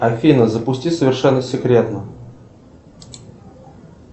афина запусти совершенно секретно